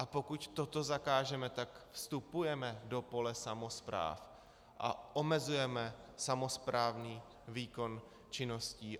A pokud toto zakážeme, tak vstupujeme do pole samospráv a omezujeme samosprávní výkon činností.